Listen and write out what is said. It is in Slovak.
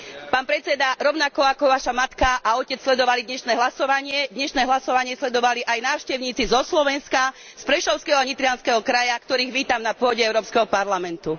Pán predsedajúci, rovnako ako vaša matka a otec sledovali dnešné hlasovanie, dnešné hlasovanie sledovali aj návštevníci zo Slovenska, z Prešovského a Nitrianskeho kraja, ktorých vítam na pôde Európskeho parlamentu.